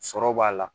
Sɔrɔ b'a la